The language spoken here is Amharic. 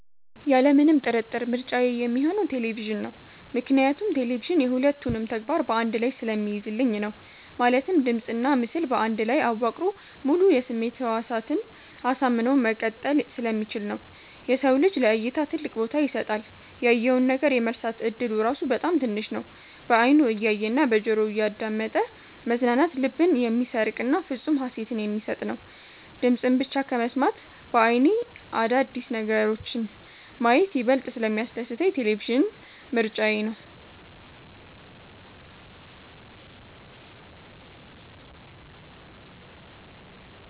ያለምንም ጥርጥር ምርጫዬ ሚሆነው ቴሌቪዥን ነው። ምክንያቱም ቴሌቪዥን የ ሁለቱንም ተግባር በ አንድ ላይ ስለሚይዝልኝ ነው። ማለትም ድምጽና ምስል በአንድ ላይ አዋቅሮ ሙሉ የስሜት ህዋሳትን አሳምኖ መቀጠል ስለሚችል ነው። የሰው ልጅ ለ እይታ ትልቅ ቦታ ይሰጣል። ያየውን ነገር የመርሳት እድሉ ራሱ በጣም ትንሽ ነው። በ አይኑ እያየ እና በጆሮው እያዳመጠ መዝናናት ልብን የሚሰርቅና ፍፁም ሃሴትን የሚሰጥ ነው። ድምፅን ብቻ ከመስማት በ አይኔ አዳዲስ ነገሮችን ማየት ይበልጥ ስለሚያስደስተኝ ቴሌቪዥን ምርጫዬ ነው።